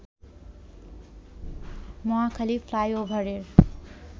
মহাখালী ফ্লাইওভারের